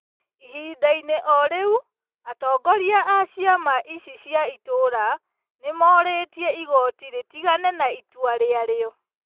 Ihinda-inĩ o rĩu, atongoria a ciama icio cia itũũra, nĩ morĩtie igooti rĩtigane na itua rĩa rĩo ,